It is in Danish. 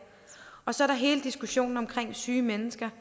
og så er der hele diskussionen om syge mennesker